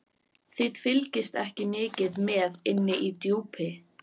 Þið fylgist ekki mikið með inni í Djúpi.